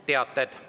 Teated.